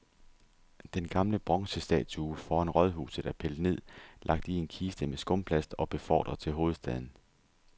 Den gamle bronzestatue foran rådhuset er pillet ned, lagt i en kiste med skumplast og befordret til hovedstaden.